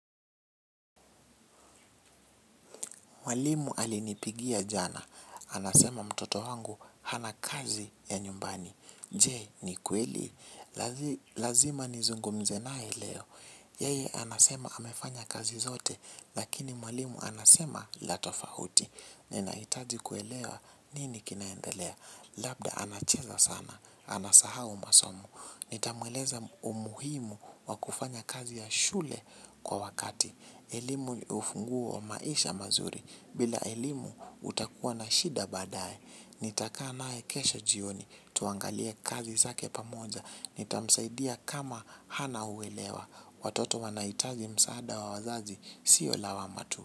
Mwalimu alinipigia jana. Anasema mtoto wangu hana kazi ya nyumbani. Je ni kweli. Lazima nizungumze naye leo. Yeye anasema amefanya kazi zote. Lakini mwalimu anasema la tofauti. Ninahitaji kuelewa nini kinaendelea. Labda anacheza sana. Anasahau masomo. Nitamueleza umuhimu wa kufanya kazi ya shule kwa wakati. Elimu ni ufunguo wa maisha mazuri. Bila elimu utakuwa na shida baadaye, nitakaa naye kesho jioni, tuangalie kazi zake pamoja, nitamsaidia kama hana uelewa, watoto wanahitaji msaada wa wazazi, sio lawama tu.